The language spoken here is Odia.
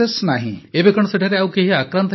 ପ୍ରଧାନମନ୍ତ୍ରୀ ଏବେ କଣ ସେଠାରେ କେହି ଆକ୍ରାନ୍ତ ନାହାନ୍ତି